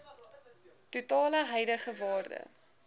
totale huidige waarde